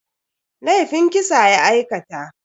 Laifin kisa ya aikata.